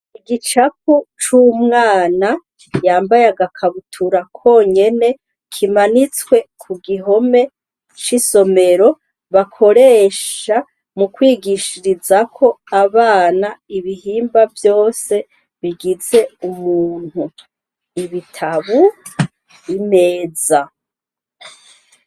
Igicapu c'umwana yambaye agakabutura konyene kimanitswe ku gihome c'isomero bakoresha mu kwigishirizako abana ibihimba vyose bigize umuntu, ibitabu imeza.